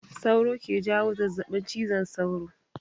Sauro ke jawo zazzaɓin cizon sauro